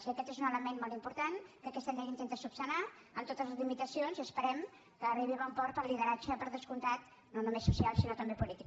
i aquest és un element molt important que aquesta llei intenta resoldre amb totes les limitacions i esperem que arribi a bon port pel lideratge per descomptat no només social sinó també polític